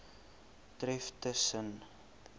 tref tus sen